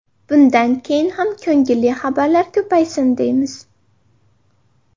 Bunday keyin ham ko‘ngilli xabarlar ko‘paysin, deymiz.